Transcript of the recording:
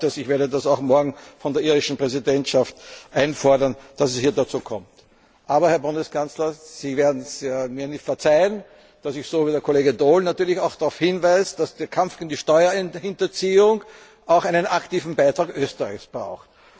Ich werde das auch morgen von der irischen Präsidentschaft einfordern, dass es dazu kommt. Aber, Herr Bundeskanzler, Sie werden es mir verzeihen, dass ich so wie der Kollege Daul auch darauf hinweise, dass der Kampf gegen die Steuerhinterziehung auch einen aktiven Beitrag Österreichs